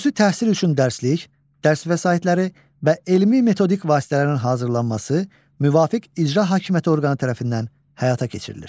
Xüsusi təhsil üçün dərslik, dərs vəsaitləri və elmi-metodik vasitələrin hazırlanması müvafiq icra hakimiyyəti orqanı tərəfindən həyata keçirilir.